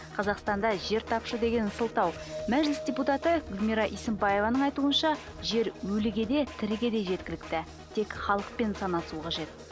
қазақстанда жер тапшы деген сылтау мәжіліс депутаты гүлмира есенбаеваның айтуынша жер өліге де тіріге де жеткілікті тек халықпен санасу қажет